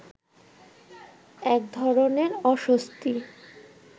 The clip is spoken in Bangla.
একধরনের অস্বস্তি